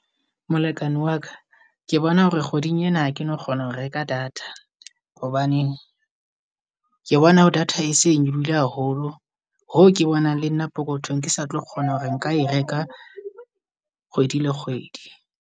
Molekane waka ke bona hore kgweding ena ha keno kgona ho reka data. Hobane ke bona data e se nyolohile haholo hoo ke bonang le nna pokothong ke satlo kgona hore nka e reka kgwedi le kgwedi.